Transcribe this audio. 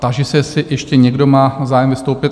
Táži se, jestli ještě někdo má zájem vystoupit?